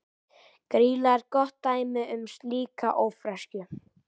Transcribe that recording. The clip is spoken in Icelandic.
Grýla er gott dæmi um slíka ófreskju.